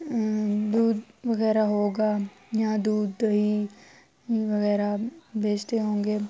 م دودھ وگیرہ ہوگا، یہانا دودھ دہی وگیرہ بچتے ہونگے--